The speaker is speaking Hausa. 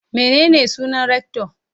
Menene sunan rector?